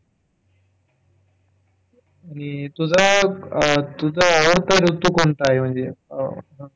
आणि तुझं आणि तुझा आवडता ऋतू कोणता आहे म्हणजे?